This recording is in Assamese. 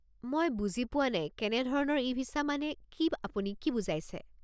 মই বুজি পোৱা নাই, ‘কেনে ধৰণৰ ই-ভিছা’ মানে কি আপুনি কি বুজাইছে?